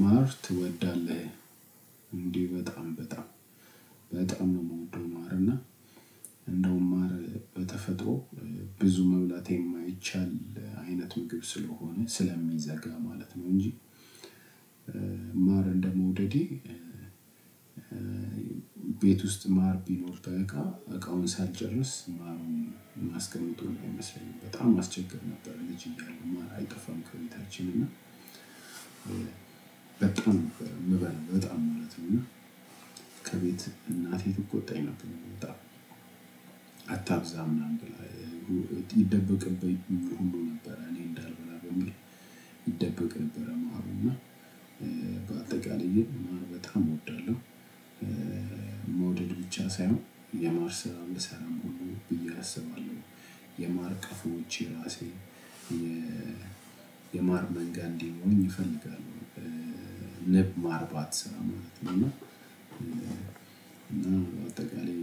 ማር ትወዳለህ? እንዴ በጣም በጣም በጣም ነው የምወደው ማር እና እንደውም ማር በተፈጥሮ ብዙ መብላት የማይቻል አይነት ምግብ ስለሆነ ስለሚዘጋ ማለት ነው እንጂ ማር እንደመውደዴ ቤት ውስጥ ማር ቢኖር በእቃ እቃውን ሳልጨርስ ማርም ማስቀምጠዉም አይመስለኝም። በጣም አስቸግር ነበር ልጅ እያለሁ ማር አይጠፋም ከሁኔታችን እና በጣም ነበር የምበላው በጣም ማለት ነው እና ከቤት እናቴ ትቆጣኝ ነበር በጣም። አታብዛ ምናምን ብላ ይደበቅብኝ ሁሉ ነበር እኔ እንዳልበላ በሚል ይደበቅ ነበር ማሩና በአጠቃላይ ማር በጣም እወዳለሁ። መውደድ ብቻ ሳይሆን የማር ስራም እሰራለሁ ብዬ አስባለሁ። የማር ቀፎዎች የራሴ የ የማር መንጋ እንዲኖረኝ እፈልጋለሁ ንብ የማርባት ስራ ማለት ነው። እና እና በአጠቃላይ